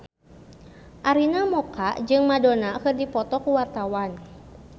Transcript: Arina Mocca jeung Madonna keur dipoto ku wartawan